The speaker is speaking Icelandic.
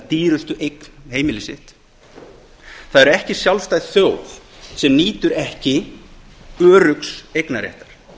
dýrustu eign heimili sitt það er ekki sjálfstæð þjóð sem nýtur ekki öruggs eignarréttar